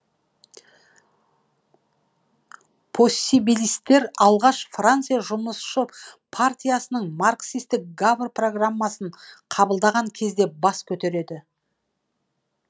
поссибилистер алғаш франция жұмысшы партиясының марксистік гавр программасын қабылдаған кезде бас көтереді